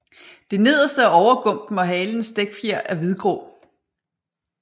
Det nederste af overgumpen og halens dækfjer er hvidgrå